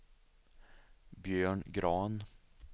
Björn Grahn